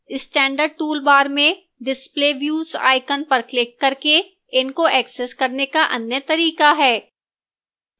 standard toolbar में display views icon पर click करके इनको access करने का अन्य तरीका है